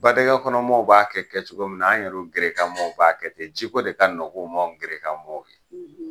Badɛŋɛkɔnɔmɔɔw b'a kɛ kɛcogo min na, an yɛru gerekanmɔɔw b'a kɛ ten. Ji ko de ka nɔg'u ma an gerekanmɔɔw ye.